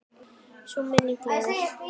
Sú minning lifir.